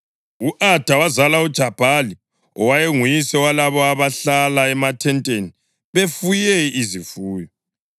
U-Ada wazala uJabhali; owayenguyise walabo abahlala emathenteni befuye izifuyo.